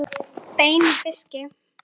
Bein úr fiski